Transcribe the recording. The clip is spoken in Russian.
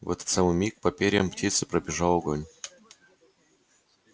в этот самый миг по перьям птицы пробежал огонь